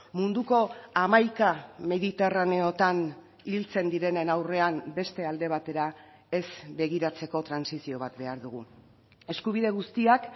munduko hamaika mediterraneotan hiltzen direnen aurrean beste alde batera ez begiratzeko trantsizio bat behar dugu eskubide guztiak